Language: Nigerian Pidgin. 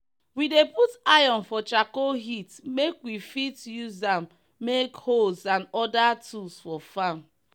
we dey put iron for charcoal heat make we fit use am make hoes and other tools for farm.